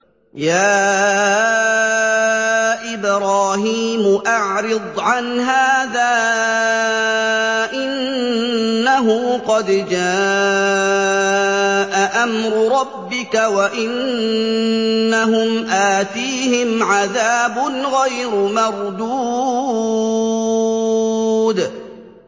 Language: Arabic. يَا إِبْرَاهِيمُ أَعْرِضْ عَنْ هَٰذَا ۖ إِنَّهُ قَدْ جَاءَ أَمْرُ رَبِّكَ ۖ وَإِنَّهُمْ آتِيهِمْ عَذَابٌ غَيْرُ مَرْدُودٍ